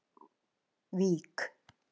Vík